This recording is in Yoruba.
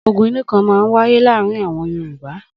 Ogun inú kan máa ń wáyé láàárin àwọn Yorùbá.